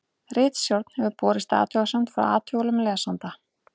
Ritstjórn hefur borist athugasemd frá athugulum lesanda.